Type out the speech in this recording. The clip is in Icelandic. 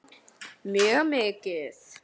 Hugrún: En þú hlakkar til?